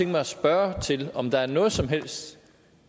mig at spørge til om der er noget som helst